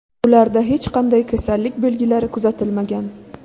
Ularda hech qanday kasallik belgilari kuzatilmagan.